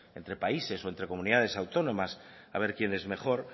entre países o entre comunidades autónomas a ver quién es mejor